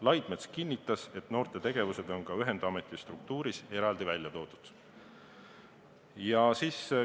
Laidmets kinnitas, et noortetegevused on ka ühendameti struktuuris eraldi välja toodud.